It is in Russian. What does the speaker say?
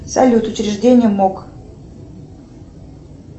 салют учреждение мок